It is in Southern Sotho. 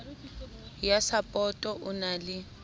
ya sapoto o na le